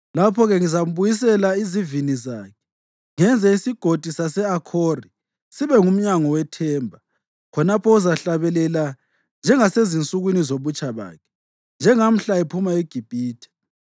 Lapho-ke ngizambuyisela izivini zakhe, ngenze iSigodi sase-Akhori sibe ngumnyango wethemba. Khonapho uzahlabelela njengasezinsukwini zobutsha bakhe, njengamhla ephuma eGibhithe.